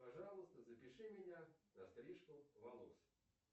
пожалуйста запиши меня на стрижку волос